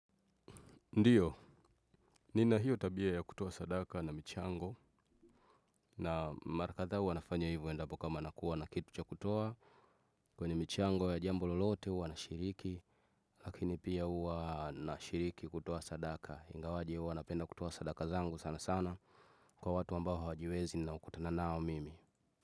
Ndiyo, nina hiyo tabia ya kutoa sadaka na michango. Na mara kadhaa huwa nafanya hivo endapo kama nakuwa na kitu cha kutoa. Kwenye michango ya jambo lolote huwa nashiriki. Lakini pia huwa nashiriki kutoa sadaka ingawaje huwa napenda kutoa sadaka zangu sanasana. Kwa watu ambao hawajiwezi na ukutana nao mimi.